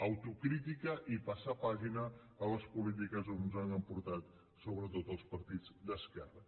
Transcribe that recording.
autocrítica i passar pàgina a les polítiques que ens han portat sobretot els partits d’esquerra